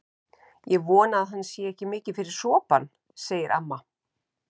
Ég vona að hann sé ekki mikið fyrir sopann, segir amma.